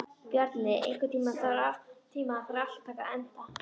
Bjarni, einhvern tímann þarf allt að taka enda.